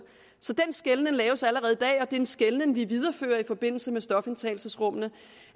så den skelnen laves allerede i dag og det er en skelnen vi viderefører i forbindelse med stofindtagelsesrummene